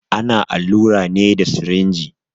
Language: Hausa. Ana allura ne da sirinji.